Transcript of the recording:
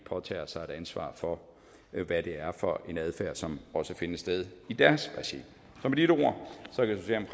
påtage sig et ansvar for hvad det er for en adfærd som også finder sted i deres regi så